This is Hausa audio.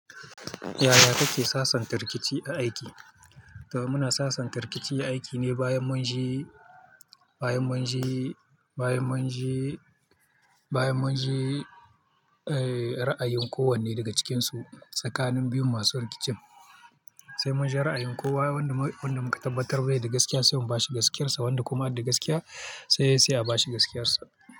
Yaya kuke sasanta rikici a aiki? To muna sasanta rikici a aiki ne bayan mun ji, bayan mun ji, bayan mun ji, bayan mun ji, eh, ra'ayin kowanne daga cikinsu. Tsakanin biyun masu rikicin sai mun ji ra'ayin kowa wanda muka tabbatar da gaskiya sai mu ba shi gaskiyarsa. Wanda kuma ke da gaskiya sai a ba shi gaskiyarsa.